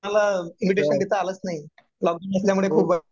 कुणाला इन्व्हिटेशन देता आलंच नाही. लॉक डाऊन असल्यामुळे